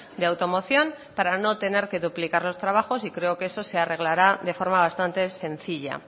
de automoción para no tener que duplicar los trabajos y creo que eso se arreglará de forma bastante sencilla